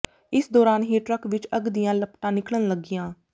ਇਸ ਦੌਰਾਨ ਹੀ ਟਰੱਕ ਵਿੱਚੋਂ ਅੱਗ ਦੀਆਂ ਲਪਟਾਂ ਨਿਕਲਣ ਲੱਗੀਆਂ